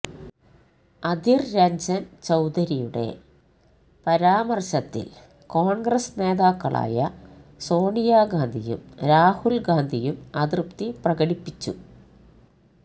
അധിര് രഞ്ജന് ചൌധരിയുടെ പരാമര്ശത്തില് കോണ്ഗ്രസ് നേതാക്കളായ സോണിയ ഗാന്ധിയും രാഹുല് ഗാന്ധിയും അതൃപ്തി പ്രകടിപ്പിച്ചു